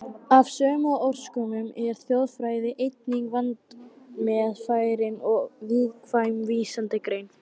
Af sömu orsökum er þjóðfræði einnig vandmeðfarin og viðkvæm vísindagrein.